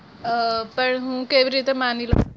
આહ પર હું કેવી રીતે માની લઉ?